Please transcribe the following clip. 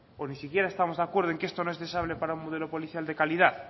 o ni siquiera estamos de acuerdo en que esto no es deseable para un modelo policial de calidad